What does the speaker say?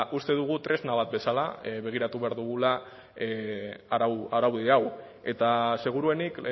uste dugu tresna bat bezala begiratu behar dugula araudi hau eta seguruenik